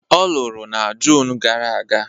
Ọ lụrụ na June gara aga